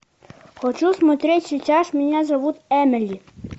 хочу смотреть сейчас меня зовут эмили